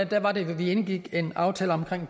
der var det vi indgik en aftale om